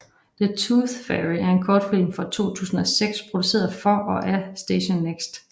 The Tooth Fairy er en kortfilm fra 2006 produceret for og af Station Next